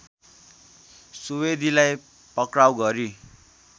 सुवेदीलाई पक्राउ गरी